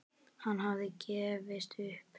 Hann hafði gefist upp.